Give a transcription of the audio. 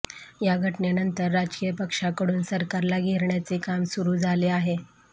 या घटनेनंतर राजकीय पक्षांकडून सरकारला घेरण्याचे काम सुरु झाले आहे